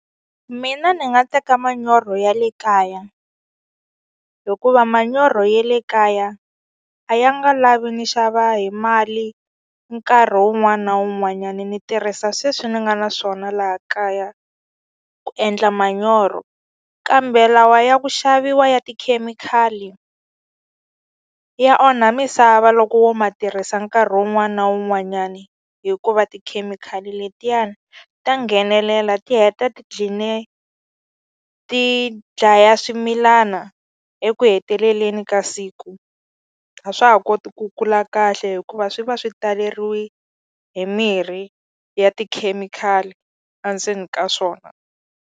Mina ni nga teka manyoro ya le kaya hikuva manyoro ye le kaya a ya nga lavi ni xava hi mali nkarhi wun'wani na wun'wanyani ni tirhisa sweswi ni nga na swona laha kaya ku endla manyoro kambe lawa ya ku xaviwa ya tikhemikhali ya onha misava loko wo ma tirhisa nkarhi wun'wani na wun'wanyani hikuva tikhemikhali letiyani ta nghenelela ti heta ti dlaya swimilana eku heteleleni ka siku a swa ha koti ku kula kahle hikuva swi va swi taleriwi hi mirhi ya tikhemikhali a ndzeni ka swona.